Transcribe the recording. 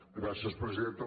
gràcies presidenta